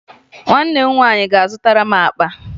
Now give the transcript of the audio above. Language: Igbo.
Nwanne m nwaanyị ga-azụtara m akpa